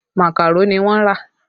Makaro ni wọ́n rà